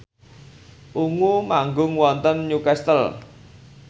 Ungu manggung wonten Newcastle